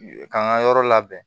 K'an ka yɔrɔ labɛn